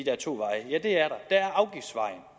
er to veje